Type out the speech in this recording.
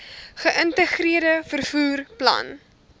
geïntegreerde vervoer plan